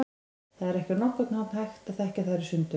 Það er ekki á nokkurn hátt hægt að þekkja þær í sundur.